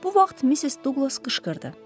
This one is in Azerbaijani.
Bu vaxt Missis Duqlas qışqırdı.